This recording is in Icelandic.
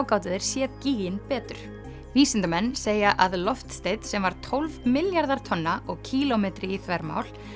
gátu þeir séð betur vísindamenn segja að loftsteinn sem var tólf milljarðar tonna og kílómetri í þvermál